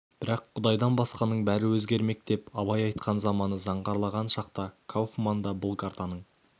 бірақ бір құдайдан басқаның бәрі өзгермек деп абай айтқан заманы заңғарланған шақта кауфман да бұл картаның